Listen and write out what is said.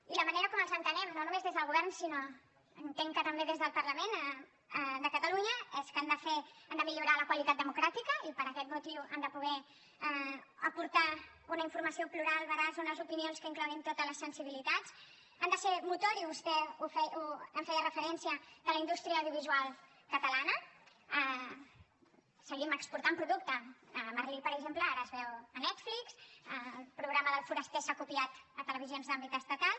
i la manera com els entenem no només des del govern sinó que entenc que també des del parlament de catalunya és que han de millorar la qualitat democràtica i per aquest motiu han de poder aportar una informació plural veraç unes opinions que incloguin totes les sensibilitats han de ser motor i vostè hi feia referència de la indústria audiovisual catalana seguim exportant producte merlíel foraster s’ha copiat a televisions d’àmbit estatal